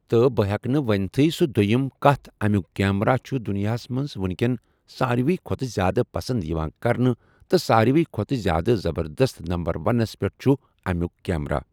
تہٕ بہٕ ہٮ۪کہٕ نہٕ ؤنتھٕے سُہ دوٚیِم کَتھ اَمیُک کیمرا چھُ دُنیاہس منٛز وُںکٮ۪ن ساروٕے کھۄتہٕ زیادٕ پَسنٛد یِوان کَرنہٕ تہٕ ساروٕے کھۄتہٕ زیادٕ زَبردس نمبر وَنَس پٮ۪ٹھ چھُ اَمیُٚک کیمرا ۔